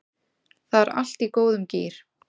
Það er allt í góðum gír